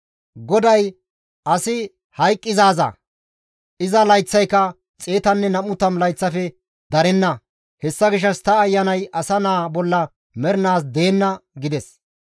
GODAY, «Asi hayqqizaaza; iza layththayka 120 layththafe darenna; hessa gishshas ta Ayanay asa naa bolla mernaas deenna» gides.